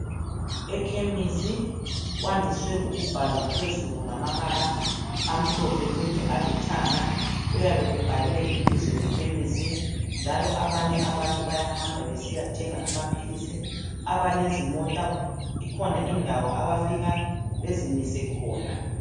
Ekhemisi kwandiswe ukubhalwa phezulu ngamabala amhlophe kumbe alithanga kuyabe kubhalwe ibizo lekhemisi njalo abanye abantu bayahamba besiyathenga amaphilisi. Abalezimota ikhona indawo abafika bazimise khona.